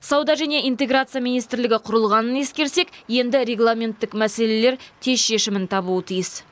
сауда және интеграция министрлігі құрылғанын ескерсек енді регламенттік мәселелер тез шешімін табуы тиіс